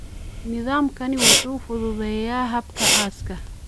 Nidaamkani wuxuu fududeeyaa hababka aaska.